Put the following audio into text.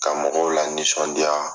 Ka mɔgɔw lanisɔndiya.